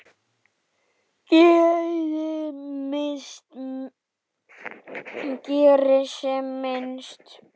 Geri sem minnst.